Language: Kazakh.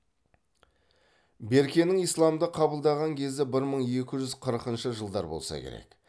беркенің исламды қабылдаған кезі бір мың екі жүз қырқыншы жылдар болса керек